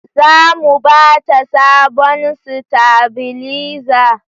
Za mu ba ta sabon stabilizer